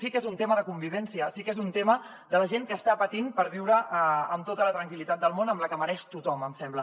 sí que és un tema de convivència sí que és un tema de la gent que està patint per viure amb tota la tranquil·litat del món amb la que mereix tothom em sembla